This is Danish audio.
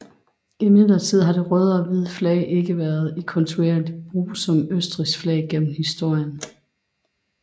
Imidlertid har det røde og hvide flag ikke været i kontinuerlig brug som Østrigs flag gennem historien